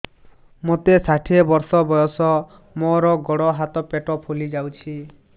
ମୋତେ ଷାଠିଏ ବର୍ଷ ବୟସ ମୋର ଗୋଡୋ ହାତ ପେଟ ଫୁଲି ଯାଉଛି